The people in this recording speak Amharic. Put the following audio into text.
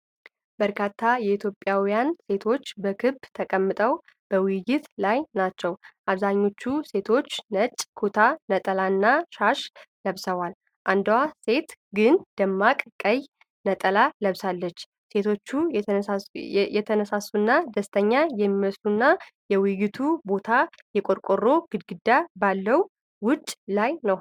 በርካታ ኢትዮጵያውያን ሴቶች በክብ ተቀምጠው በውይይት ላይ ናቸው። አብዛኞቹ ሴቶች ነጭ ኩታ/ነጠላና ሻሽ ለብሰዋል፣ አንዷ ሴት ግን ደማቅ ቀይ ነጠላ ለብሳለች። ሴቶቹ የተነሳሱና ደስተኛ የሚመስሉና፣ የውይይቱ ቦታ የቆርቆሮ ግድግዳ ባለበት ውጪ ላይ ነው።